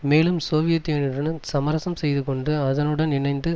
மேலும் சோவியத் யூனியனுடன் சமரசம் செய்துகொண்டு அதனுடன் இணைந்து